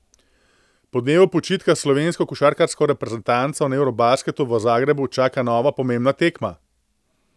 Po dnevu počitka slovensko košarkarsko reprezentanco na eurobasketu v Zagrebu čaka nova pomembna tekma.